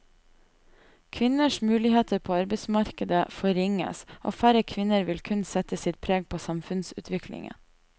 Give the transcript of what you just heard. Kvinners muligheter på arbeidsmarkedet forringes, og færre kvinner vil kunne sette sitt preg på samfunnsutviklingen.